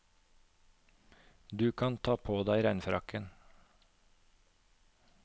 Du kan ta på deg regnfrakken.